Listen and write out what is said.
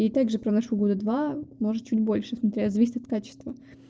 и также проношу года два может чуть больше смотря зависит от качества